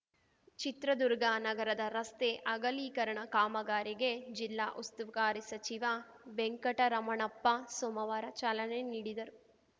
ಚಿತ್ರದುರ್ಗ ನಗರದ ರಸ್ತೆ ಅಗಲೀಕರಣ ಕಾಮಗಾರಿಗೆ ಜಿಲ್ಲಾ ಉಸ್ತುವಾರಿ ಸಚಿವ ವೆಂಕಟರಮಣಪ್ಪ ಸೋಮವಾರ ಚಾಲನೆ ನೀಡಿದರು